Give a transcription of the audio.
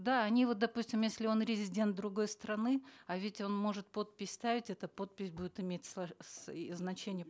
да они вот допустим если он резидент другой страны а ведь он может подпись ставить эта подпись будет иметь и значение